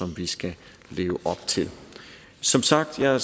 vi skal leve op til som sagt ser